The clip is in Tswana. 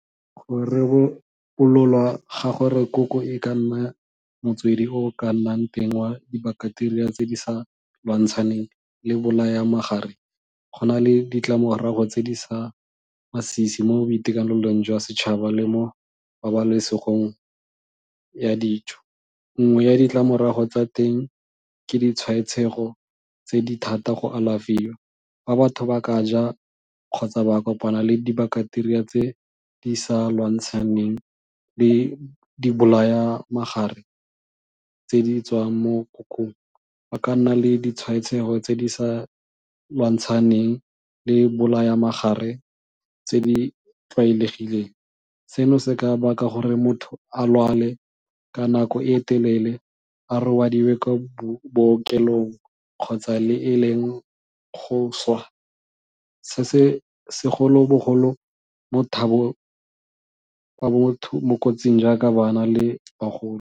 Go ga gore koko e ka nna motswedi o o ka nnang teng wa dibaketeria tse di sa lwantshaneng le bolaya go na le ditlamorago tse di masisi mo boitekanelong jwa setšhaba le mo pabalesegong ya dijo. Nngwe ya ditlamorago tsa teng ke ditshwaetsego tse di thata go alafiwa. Fa batho ba ka ja, kgotsa ba kopana le dibakateria tse di sa lwantshaneng le dibolaya tse di tswang mo kokong, ba ka nna le ditshwaetsego tse di sa lwantshaneng le bolaya tse di tlwaelegileng, seno se ka baka gore motho a lwale ka nako e e telele a robadiwe kwa bookelong kgotsa le e leng go swa, se se segolobogolo mo mo kotsing jaaka bana le bagolo.